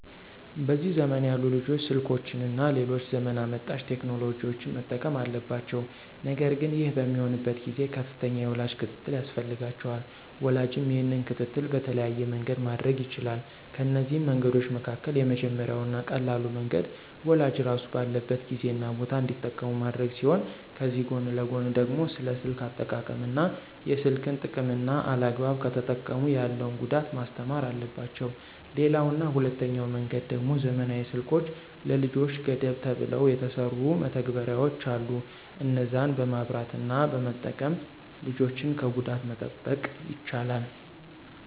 በዚህ ዘመን ያሉ ልጆች ስልኮችን እና ሌሎች ዘመን አመጣሽ ቴክኖሎጂዎችን መጠቀም አለባቸው ነገር ግን ይህ በሚሆንበት ጊዜ ከፍተኛ የወላጅ ክትትል ያስፈልጋቸዋል። ወላጅም ይህንን ክትትል በተለያየ መንገድ ማድረግ ይችላል፤ ከነዚህ መንገዶች መካከል የመጀመሪያው እና ቀላሉ መንገድ ወላጅ ራሱ ባለበት ጊዜ እና ቦታ እንዲጠቀሙ ማድረግ ሲሆን ከዚህ ጎን ለጎን ደግሞ ስለ ስልክ አጠቃቀም እና የስልክን ጥቅምና አላግባብ ከተጠቀሙ ያለውን ጉዳት ማስተማር አለባቸው። ሌላው እና ሁለተኛው መንገድ ደሞ ዘመናዊ ስልኮች ለልጆች ገደብ ተብለው የተሰሩ መተግበሪያዎች አሉ እነዛን በማብራት እና በመጠቀም ልጆችን ከጉዳት መጠበቅ ይቻላል።